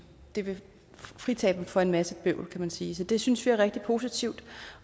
det vil fritage dem for en masse bøvl kan man sige det synes vi er rigtig positivt